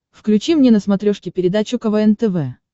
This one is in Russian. включи мне на смотрешке передачу квн тв